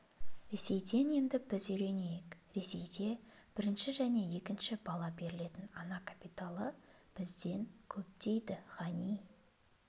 ресейден енді біз үйренейік ресейде бірінші және екінші бала берілетін ана капиталы бізден көп дейді ғани